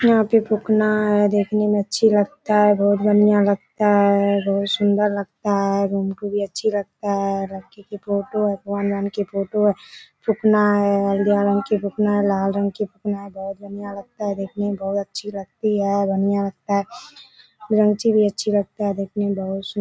यहाँ पे फुकना है देखने में अच्छा लगता है बहुत बढ़िया लगता है बहुत सुंदर लगता है हम को भी अच्छा लगता है फोटो फोटो फुकना है हरियर रंग की फुकना लाल रंग की फुकना बहुत बढ़िया लगता है देखने में बहुत अच्छी लगती है बढ़िया लगता है अच्छी लगती है देखने में सुंदर --